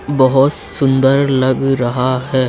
बहोत सुन्दर लग रहा है।